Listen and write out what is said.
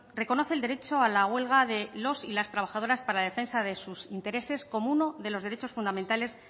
reconoce el derecho a la huelga de los y las trabajadoras para la defensa de sus intereses como uno de los derechos fundamentales